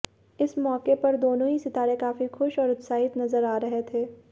इस मौके पर दोनो ही सितारें काफी खुश और उत्साहित नजर आ रहे थे